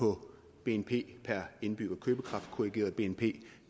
på bnp per indbygger købekraftkorrigeret bnp